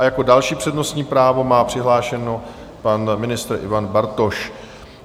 A jako další přednostní právo má přihlášeno pan ministr Ivan Bartoš.